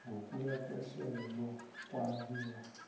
ngokuya kwehlelo lokwabiwa